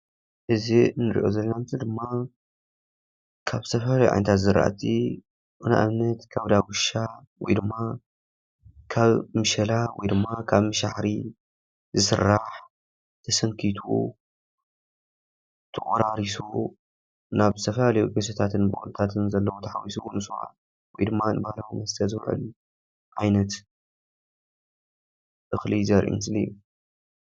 እዚ እንሪኦ ዘለና ምስሊ ድማ ካብ ዝተፈላለዩ ዓይነታት ዝራእቲ ንኣብነት ካብ ዳጉሻ ወይ ድማ ካብ መሸላ ወይ ድማ ካብ ምሸባሕሪ ዝስራሕ ተሰንኪቱ ፣ተቖራሪሱ ናብ ዝተፈላለዩ ጌሶታትን ቡቕልታትን ዘለው ንስዋ ተሓዊሱ ወይ ድማ ንባህላዊ መስተ ዝዉዕል ዓይነት እኽሊ ዘርኢ ምስሊ እዩ።